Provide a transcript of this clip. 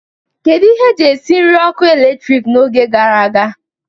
Kedu ihe eji esi nri ọkụ eletrik n'oge gara aga?